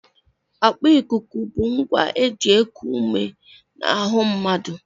Akpa ikuku bụ ngwa e ji eku ume n'ahụ mmadụ